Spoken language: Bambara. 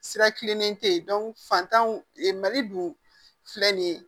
Sira kilennen tɛ ye fantanw mali dun filɛ nin ye